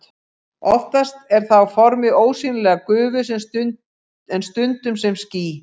Oftast er það á formi ósýnilegrar gufu en stundum sem ský.